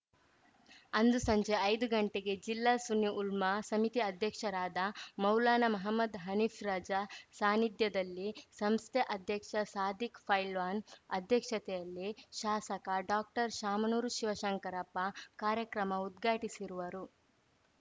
ಅಂದು ಸಂಜೆ ಐದು ಗಂಟೆಗೆ ಜಿಲ್ಲಾ ಸುನ್ನಿ ಉಲ್ಮಾ ಸಮಿತಿ ಅಧ್ಯಕ್ಷರಾದ ಮೌಲಾನಾ ಮಹಮ್ಮದ್‌ ಹನೀಫ್‌ ರಜಾ ಸಾನ್ನಿಧ್ಯದಲ್ಲಿ ಸಂಸ್ಥೆ ಅಧ್ಯಕ್ಷ ಸಾಧಿಕ್‌ ಪೈಲ್ವಾನ್‌ ಅಧ್ಯಕ್ಷತೆಯಲ್ಲಿ ಶಾಸಕ ಡಾಕ್ಟರ್ಶಾಮನೂರು ಶಿವಶಂಕರಪ್ಪ ಕಾರ್ಯಕ್ರಮ ಉದ್ಘಾಟಿಸಿರುವರು